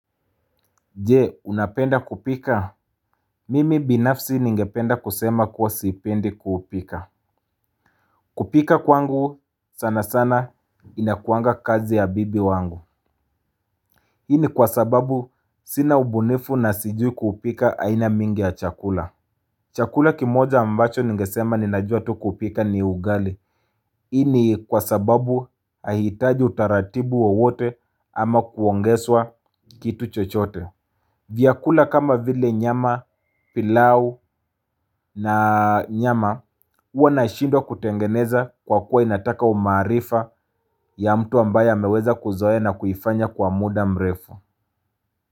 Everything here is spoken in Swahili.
Je unapenda kupika? Mimi binafsi ningependa kusema kuwa sipendi kupika. Kupika kwangu sana sana inakuanga kazi ya bibi wangu. Hii ni kwa sababu sina ubunifu na sijui kupika aina mingi ya chakula. Chakula kimoja ambacho ningesema ninajua tu kupika ni ugali. Hii ni kwa sababu haihitaji utaratibu wowote ama kuongezwa kitu chochote. Vyakula kama vile nyama, pilau na nyama huwa na shidwa kutengeneza kwa kuwa inataka umaarifa ya mtu ambaye ameweza kuzoea na kuifanya kwa muda mrefu.